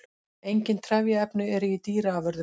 Engin trefjaefni eru í dýraafurðum.